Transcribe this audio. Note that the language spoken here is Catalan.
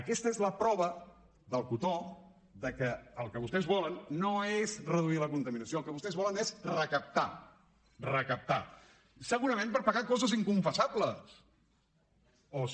aquesta és la prova del cotó que el que vostès volen no és reduir la contaminació el que vostès volen és recaptar recaptar segurament per pagar coses inconfessables o ser